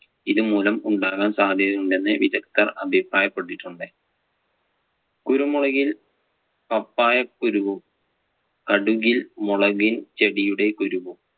ഇതുമൂലം ഉണ്ടാകാൻ സാധ്യതയുണ്ടെന്ന് വിദഗ്ധർ അഭിപ്രായപ്പെട്ടിട്ടുണ്ട്. കുരുമുളകിൽ പപ്പായ കുരുവും, കടുകിൽ മുളകിൻ ചെടിയുടെ കുരുവും